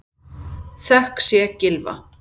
Þökk sé Gylfa